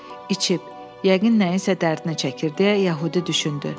İçib, yəqin nəyinsə dərdini çəkir deyə Yəhudi düşündü.